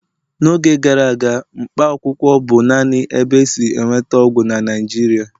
n'oge gara aga, Mkpaakwụkwọ bụ naanị ebe e si enweta ọgwụ na Naịjirịa